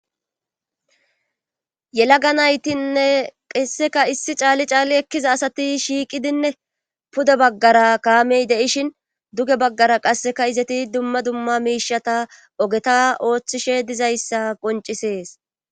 Yelaga naytinne qeesseka issi caalli caali ekkiza asati shiiqidinne pude baggara kaamey deishin duge baggara qasseka izeti dumma dumma miishata ogeta ooththishe dizayssa qoncisees.